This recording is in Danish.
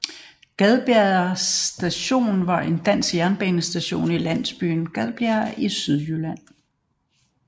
Gadbjerg Station var en dansk jernbanestation i landsbyen Gadbjerg i Sydjylland